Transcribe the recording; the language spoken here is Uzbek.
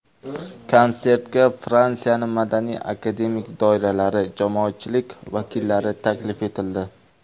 Konsertga Fransiyaning madaniy, akademik doiralari, jamoatchilik vakillari taklif etildi.